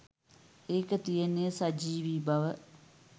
ඒකෙ තියෙන සජීවි බව